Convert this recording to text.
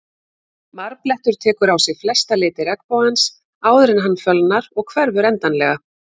Marblettur tekur á sig flesta liti regnbogans áður en hann fölnar og hverfur endanlega.